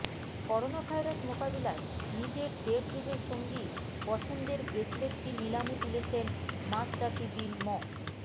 coronavirus মোকাবিলায় নিজের দেড় যুগের সঙ্গী পছন্দের ব্রেসলেটটি নিলামে তুলেছেন মাশরাফি বিন ম